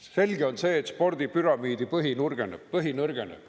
Selge on see, et spordipüramiidi põhi nõrgeneb.